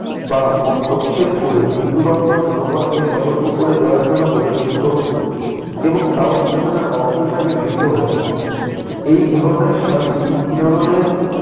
বা মস্তকচ্ছেদ ক'রে মৃত্যুদণ্ড জনগণকে সতর্ক করে দেওয়ার জন্য প্রদর্শিত হতো। এবং তাও বিনোদনের অংশ হিসেবে গৃহীত হতো। এই ধরনের শাস্তি বিনোদনের